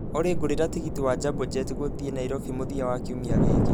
olly ngũrĩra tigiti wa jambo jet wa gũthiĩ nairobi mũthia wa kiumia gĩkĩ